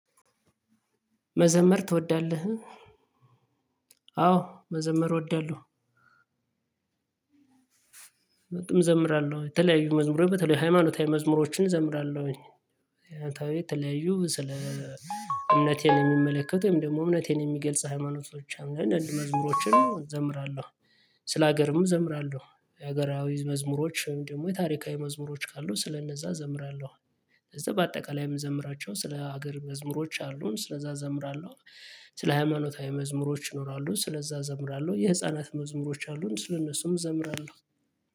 መዘመር ትወዳለህ? አዎ መዘመር እወዳለሁ፤ እዘምራለሁ የተለያዩ መዝሙር በተለይ ሃይማኖታዊ መዝሙሮችን እዘምራለሁኝ፤ ያንተ ተለያዩ ስለ እምነቴን የሚመለከቱም ደግሞ እምነቴን የሚገልጽ ሃይማኖቶችም አንዳንድ መዝሙሮችን ዘምራለሁ ስለ ሀገርም ዘምራለሁ የሀገራዊ መዝሙሮች ወይም ደግሞ የታሪካዊ መዝሙሮች ካሉ ስለነዛ እዘምራለሁ ከዛ በአጠቃላይ የምዘምራቸው ስለ ሀገር መዝሙሮች አሉን ስለዛ እዘምራለሁ ስለ ሃይማኖታዊ መዝሙሮች ይኖራሉ ስለዛ እዘምራለሁ የህፃናት መዝሙሮች አሉን ስለእነሱም እዘምራለሁ